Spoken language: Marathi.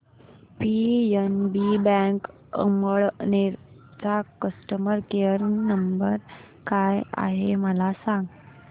पीएनबी बँक अमळनेर चा कस्टमर केयर नंबर काय आहे मला सांगा